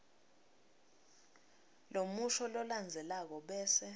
lomusho lolandzelako bese